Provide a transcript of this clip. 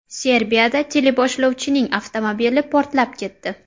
Serbiyada teleboshlovchining avtomobili portlab ketdi.